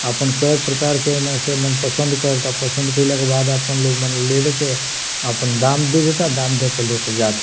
अपन कै प्रकार के एमें से पसंद करता पसंद कइले के बाद आपन लोग मने ले-लेके आपन दाम दे देता आपन दाम दे के ले के जाता।